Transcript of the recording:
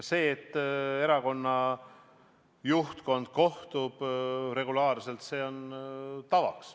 See, et erakonna juhtkond regulaarselt kohtub, on meil tavaks.